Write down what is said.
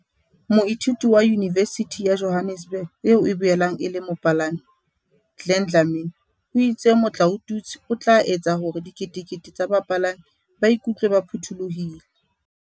Moithuti wa Yunivesithi ya Johannesburg eo e boelang e le mopalami, Glen Dlamini o itse motlaotutswe o tla etsa hore diketekete tsa bapalami ba iku tlwe ba phuthulohile.